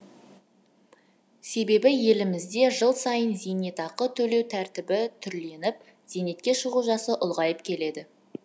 себебі елімізде жыл сайын зейнетақы төлеу тәртібі түрленіп зейнетке шығу жасы ұлғайып келеді